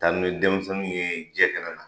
Taa ni be denmisɛnnu ye jɛ kɛnɛ kan